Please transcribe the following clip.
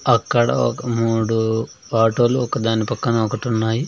అక్కడ ఒక మూడు ఆటో లు ఒక దాని పక్కన ఒకటున్నాయి.